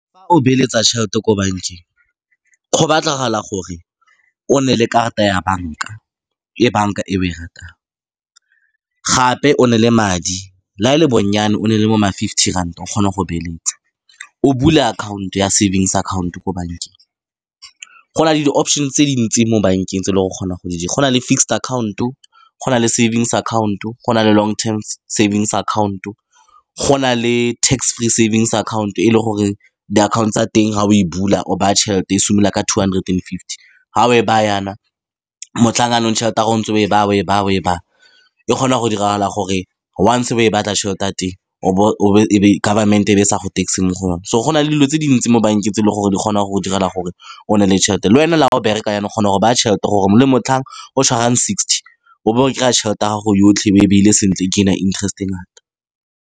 Fa o beeletsa tšhelete ko bankeng, go batlagala gore o nne le karata ya bank-a e banka e o e ratang. Gape o nne le madi la e le bonnyane, o nne le bo ma-fifty ranta, o kgone go beeletsa, o bule akhaonto ya savings akhaonto ko bankeng. Go na le di-option-e tse dintsi mo bankeng tse e leng gore o kgona go di dira. Go na le fixed account-o, go na le savings account-o, go na le long term savings account-o, go na le tax free savings akhaonto. E leng gore di-account-o tsa teng, fa o e bula, o baya tšhelete e simolola ka two hundred and fifty. Ga o e baya jaana motlhang, jaanong tšhelete ya gago o ntse o e baya, o e baya, o e baya, e kgona go diragala gore once-e o e batla, tšhelete ya teng o bo, e be government-e e be e sa go tax-e mo go yone. So, go na le dilo tse di ntsi mo bankeng tse e leng gore di kgona go go direla gore o nne le tšhelete, lwena le ga o bereka, yanong o kgona go baya tšhelete, gore le motlhang o tshwarang sixty o bo o kry-a tšhelete ya gago yotlhe o e beile sentle, interest-e e ngata.